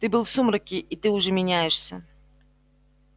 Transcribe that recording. ты был в сумраке и ты уже меняешься